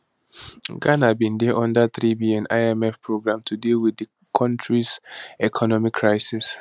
ghana bin dey under 3bn imf programme to deal with di kontris economic crisis